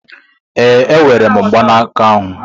Ee, enwere m mgbanaka ahụ.